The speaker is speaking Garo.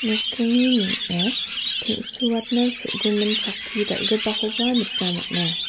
nokdringni ning·o teng·suatna so·gimin chakki dal·gipakoba nikna man·a.